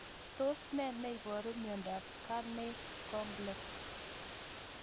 Tos nee neiparu miondop Carney complex?